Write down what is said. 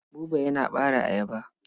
Buba yana ɓare ayaba.